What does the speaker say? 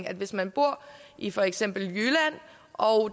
at hvis man bor i for eksempel jylland og